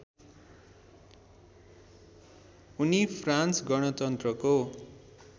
उनी फ्रान्स गणतन्त्रको